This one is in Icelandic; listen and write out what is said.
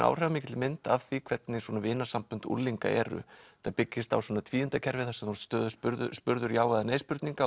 áhrifamikilli mynd af því hvernig svona unglinga eru þetta byggist á tvíundakerfi þar sem þú ert stöðugt spurður spurður já eða nei spurninga